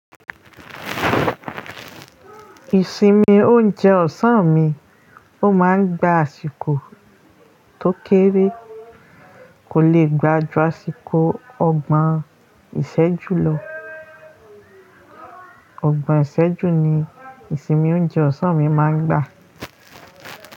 Ìsinmi oúnjẹ ọ̀sán mi, ó máa ń gba àsìkò tó kéré, kò lè gbà jù àsìkò ọgbọ̀n ìṣẹ́jú lọ. Ọgbọ̀n ìṣẹ́jú ni ìsinmi oúnjẹ ọ̀sán mi máa ń gbà.